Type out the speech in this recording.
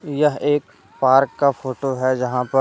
यह एक पार्क का फोटो है जहां पर--